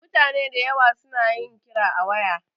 Mutane dayawa su na yin kira a waya